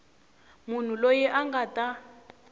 munhu loyi a nga ta